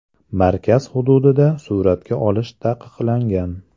Markaz hududida suratga olish taqiqlangan.